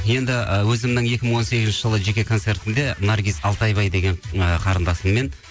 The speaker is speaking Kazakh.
енді ы өзімнің екі мың он сегізінші жылы жеке концертімде наргиз алтайбай деген ы қарындасыммен